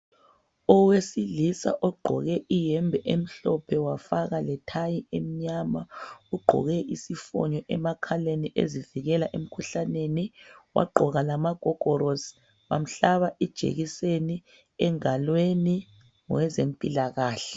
owesilisa ogqoke iyembe emhlophe wafaka le tie emnyama ugqoke isifonyo emakhaleni ezivikela emkhuhlaneni wagqoka lamagogorosi wamhlaba ijekiseniengalweni ngezempilakahle